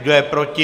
Kdo je proti?